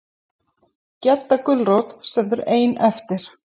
Gedda gulrót stendur ein eftir.